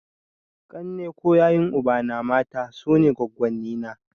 Ƙanne ko yayun ubana (mata) sune goggonni na.